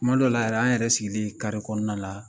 Tuma dɔ la yɛrɛ an yɛrɛ sigilen kɔnɔna la